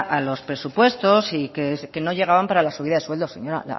a los presupuestos y que no llegaban para la subida de sueldos señora